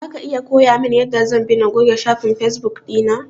Zaka iya koyamin yanda zan bi na goge shafin fesbuk ɗina?